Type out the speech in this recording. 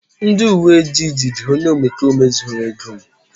ndị uwe ojii jidere onye omekome zuru ego m